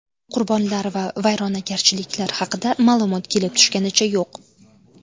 Qurbonlar va vayronagarchiliklar haqida ma’lumot kelib tushganicha yo‘q.